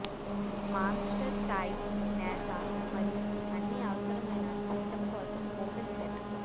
monster tile నేత మరియు అన్ని అవసరమైన సిద్ధం కోసం ఓపెన్ సెట్